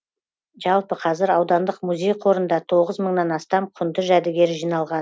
жалпы қазір аудандық музей қорында тоғыз мыңнан астам құнды жәдігер жиналған